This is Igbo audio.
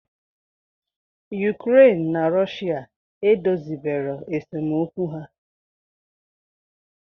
Ukraine na Russia edozibero esemokwu ha